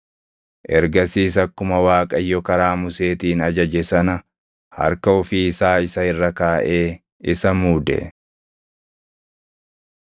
Ergasiis akkuma Waaqayyo karaa Museetiin ajaje sana harka ofii isaa isa irra kaaʼee isa muude.